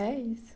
É isso.